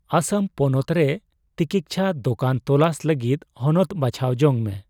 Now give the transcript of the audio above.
ᱟᱥᱟᱢ ᱯᱚᱱᱚᱛ ᱨᱮ ᱛᱤᱠᱤᱪᱪᱷᱟ ᱫᱚᱠᱟᱱ ᱛᱚᱞᱟᱥ ᱞᱟᱹᱜᱤᱫ ᱦᱚᱱᱚᱛ ᱵᱟᱪᱷᱟᱣ ᱡᱚᱝ ᱢᱮ ᱾